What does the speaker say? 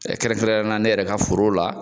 kɛrɛnkɛrɛnneya la ne yɛrɛ ka foro la,